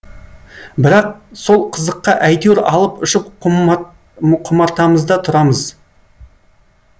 бірақ сол қызыққа әйтеуір алып ұшып құмартамызда тұрамыз